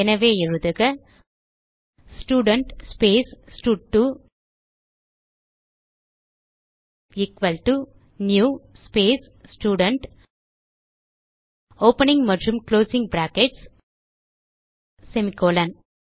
எனவே எழுதுக student space ஸ்டட்2 equal to new space student opening மற்றும் குளோசிங் பிராக்கெட்ஸ் semi கோலோன்